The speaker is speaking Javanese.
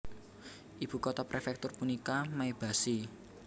Ibu kota prefektur punika Maebashi